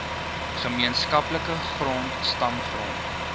gemeenskaplike grond stamgrond